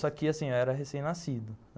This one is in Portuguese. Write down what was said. Só que eu era recém-nascido.